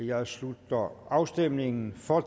jeg slutter afstemningen for